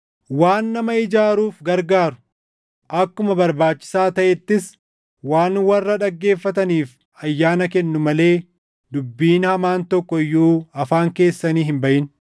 Waan nama ijaaruuf gargaaru, akkuma barbaachisaa taʼettis waan warra dhaggeeffataniif ayyaana kennu malee dubbiin hamaan tokko iyyuu afaan keessanii hin baʼin.